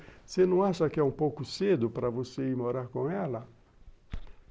Você não acha que é um pouco cedo para você ir morar com ela?